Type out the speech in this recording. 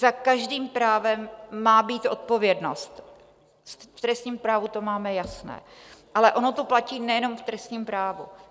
Za každým právem má být odpovědnost, v trestním právu to máme jasné, ale ono to platí nejenom v trestním právu.